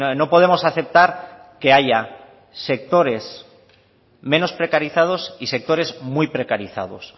no podemos aceptar que haya sectores menos precarizados y sectores muy precarizados